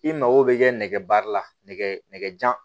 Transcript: I mago bɛ kɛ nɛgɛbaara la nɛgɛjan